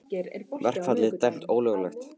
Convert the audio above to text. Verkfallið dæmt ólöglegt